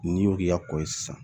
N'i y'o k'i ka kɔ ye sisan